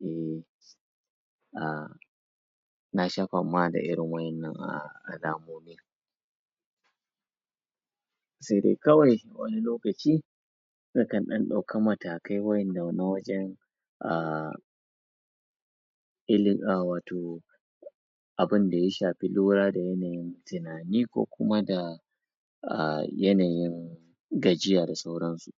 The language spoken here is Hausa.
um nasha fama da irin waƴannan alamomi se dai kawai wani lokaci na kan ɗan ɗauki matakai waƴanda na wajan um wato abinda ya shafi yanayin lura da tunani ko kuma da a yanayin gajiya da sauransu